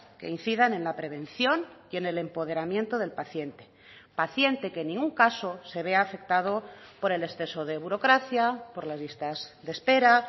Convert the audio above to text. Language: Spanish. que incidan en la prevención y en el empoderamiento del paciente paciente que en ningún caso se vea afectado por el exceso de burocracia por las listas de espera